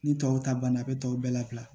Ni tɔw ta banna a be tɔw bɛɛ labila